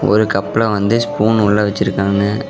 ஒரு கப்ல வந்து ஸ்பூன் உள்ள வச்சிருக்காங்க.